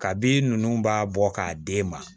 Kabi ninnu b'a bɔ k'a d'e ma